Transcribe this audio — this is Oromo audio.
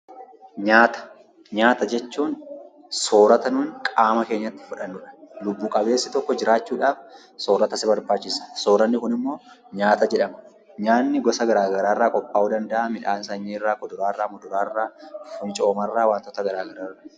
Nyaata jechuun soorata nuti qaama keenyatti fudhannudha. Lubbu qabeessi tokko jiraachuudhaaf soorata isa barbaachisa. Sooranni kun immoo nyaata jedhama. Nyaanni gosa garaa garaa irraa qophaa'uu ni danda'a. Kunis: midhaan sanyii irraa, kuduraa irraa, muduraa irraa, kun cooma irraa qophaa'uu ni danda'a.